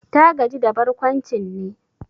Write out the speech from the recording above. Ta gaji da barkwancin ne?